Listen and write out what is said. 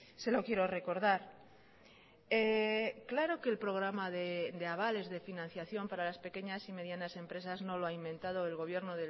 se lo quiero recordar claro que el programa de avales de financiación para las pequeñas y medianas empresas no lo ha inventado el gobierno